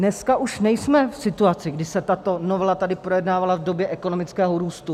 Dneska už nejsme v situaci, kdy se tato novela tady projednávala v době ekonomického růstu.